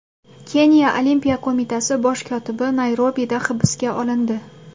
Keniya olimpiya qo‘mitasi bosh kotibi Nayrobida hibsga olindi.